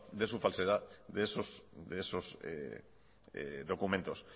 de su falsedad de esos documentos